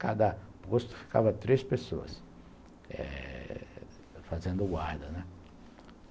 Cada posto ficava três pessoas fazendo guarda.